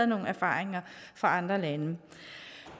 nogle erfaringer fra andre lande